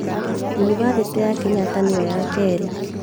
Yunibathĩtĩ ya Kenyatta nĩyo ya kerĩ